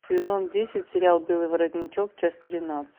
сезон десять сериал белый воротничок часть тринадцать